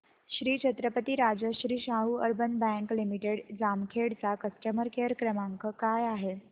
Shri Chhatrapati Rajashri Shahu urban bank limited Jamkhed चा customer care क्रमांक काय आहे